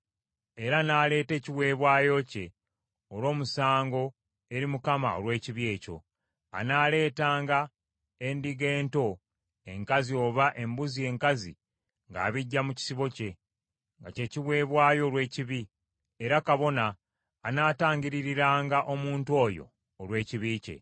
era n’aleeta ekiweebwayo kye olw’omusango eri Mukama olw’ekibi ekyo. Anaaleetanga endiga ento enkazi oba embuzi enkazi ng’abiggya mu kisibo kye, nga kye kiweebwayo olw’ekibi; era kabona anaatangiririranga omuntu oyo olw’ekibi kye.